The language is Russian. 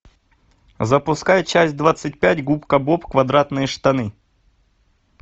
запускай часть двадцать пять губка боб квадратные штаны